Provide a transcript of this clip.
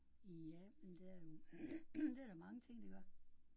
Ja men der er jo det er der mange ting der gør